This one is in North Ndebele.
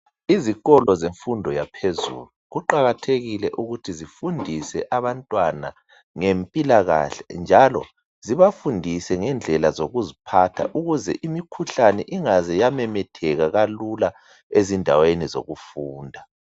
Izikolo zemfundo yaphezulu kuqakathekile ukuthi zifundise abantwana ngempilakahle njalo zibafundise ngendlela zokuziphatha ukuze imikhuhlane ingaze yamemetheka kalula ezindaweni zokufunda